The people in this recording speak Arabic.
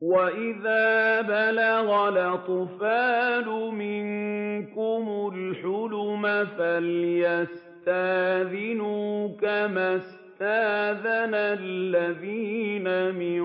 وَإِذَا بَلَغَ الْأَطْفَالُ مِنكُمُ الْحُلُمَ فَلْيَسْتَأْذِنُوا كَمَا اسْتَأْذَنَ الَّذِينَ مِن